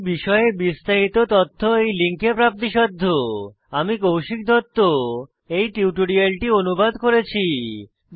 এই বিষয়ে বিস্তারিত তথ্য এই লিঙ্কে প্রাপ্তিসাধ্য httpspoken tutorialorgNMEICT Intro আমি কৌশিক দত্ত এই টিউটোরিয়ালটি অনুবাদ করেছি